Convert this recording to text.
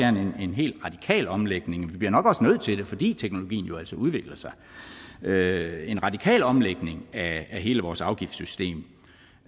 en en hel radikal omlægning vi bliver nok også nødt til det fordi teknologien jo altså udvikler sig en radikal omlægning af hele vores afgiftssystem